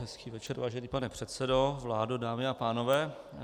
Hezký večer, vážený pane předsedo, vládo, dámy a pánové.